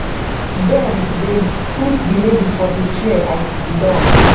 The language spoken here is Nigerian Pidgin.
den dem put di lady for di chair i siddon